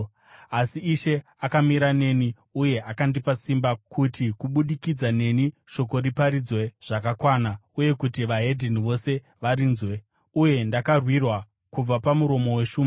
Asi Ishe akamira neni uye akandipa simba, kuti kubudikidza neni shoko riparidzwe zvakakwana uye kuti veDzimwe Ndudzi vose varinzwe. Uye ndakarwirwa kubva pamuromo weshumba.